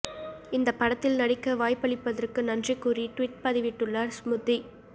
இந்த படத்தில் நடிக்க வாய்ப்பளித்ததற்கு நன்றி கூறி ட்வீட் பதிவிட்டுள்ளார் ஸ்ம்ருதி